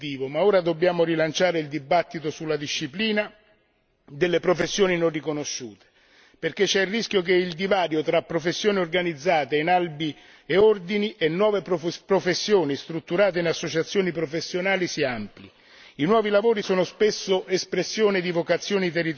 Io credo, signor Presidente, che semplificare è positivo ma ora dobbiamo rilanciare il dibattito sulla disciplina delle professioni non riconosciute, perché c'è il rischio che il divario tra professioni organizzate in albi e ordini e nuove professioni strutturate in associazioni professionali si amplino.